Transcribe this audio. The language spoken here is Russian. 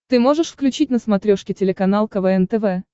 ты можешь включить на смотрешке телеканал квн тв